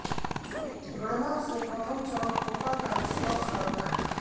गणना से प्रथम चरण कोटा का निष्कर्ष करना है